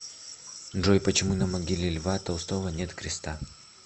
джой почему на могиле льва толстого нет креста